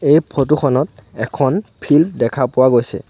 এই ফটো খনত এখন ফিল্ড দেখা পোৱা গৈছে।